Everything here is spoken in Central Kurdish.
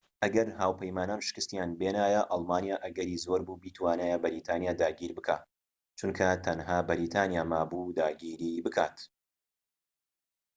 ئەگەر هاوپەیمانان شکستیان بێنایە ئەڵمانیا ئەگەری زۆربوو بیتوانیایە بەریتانیا داگیر بکات چونکە تەنها بەریتانیا مابوو داگیری بکات